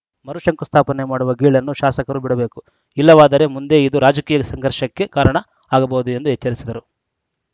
ಮರು ಶಂಕುಸ್ಥಾಪನೆ ಮಾಡುವ ಗೀಳನ್ನು ಶಾಸಕರು ಬಿಡಬೇಕು ಇಲ್ಲವಾದರೆ ಮುಂದೆ ಇದು ರಾಜಕೀಯ ಸಂಘರ್ಷಕ್ಕೆ ಕಾರಣ ಆಗಬಹುದು ಎಂದು ಎಚ್ಚರಿಸಿದರು